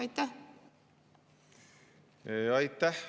Aitäh!